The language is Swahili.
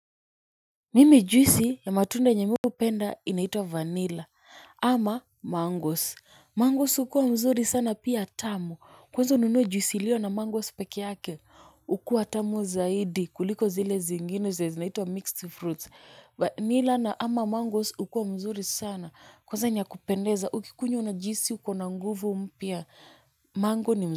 Mimi juisi ya matunda yenye mi hupenda inaitwa vanilla ama mangos. Mangos ukuwa mzuri sana pia tamu. Kwanza ununue juisi iliyo na mangos peke yake. Ukuwa tamu zaidi kuliko zile zingine zinaitwa mixed fruits. Vanilla na ama mangos ukuwa mzuri sana. Kwanza ni ya kupendeza ukikunywa unajihisi uko na nguvu mpya mango ni mzuri.